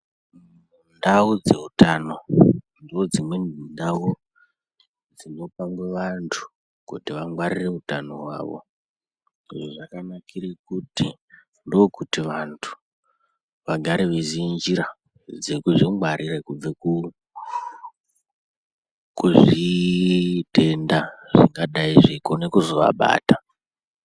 Ndau dzeutano ndodzimweni ndau dzinopangwe vantu kuti vangwarire utano hwavo. Izvi zvakanakire kuti ndokuti vantu vagare veiziye njira dzekuzvingwarira kubve kuzvitenda zvingadai zveigone kuzovabata.